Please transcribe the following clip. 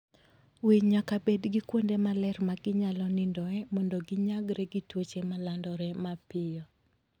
Winy nyaka bed gi kuonde maler ma ginyalo nindoe mondo ginyagre gi tuoche ma landore mapiyo.